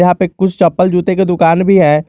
यहां पे कुछ चप्पल जूते के दुकान भी है।